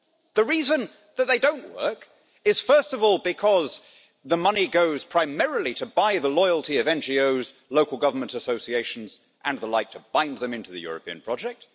The reason that they do not work is, first of all, because the money goes primarily to buy the loyalty of NGOs, local government associations and the like, in order to bind them into the European project.